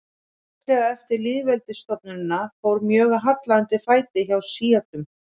Fljótlega eftir lýðveldisstofnunina fór mjög að halla undan fæti hjá sjítum.